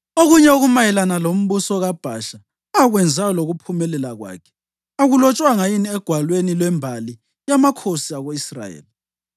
Okunye okumayelana lombuso kaBhasha, akwenzayo lokuphumelela kwakhe, akulotshwanga yini egwalweni lwembali yamakhosi ako-Israyeli?